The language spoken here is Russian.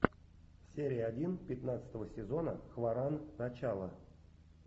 серия один пятнадцатого сезона хваран начало